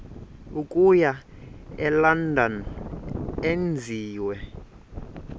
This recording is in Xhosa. okuya elondon enziwe